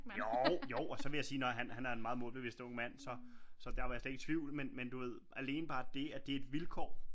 Jo jo og så vil jeg sige når han er en meget målbevidst ung mand så så der var jeg slet ikke i tvivl men du ved alene bare det at det er et vilkår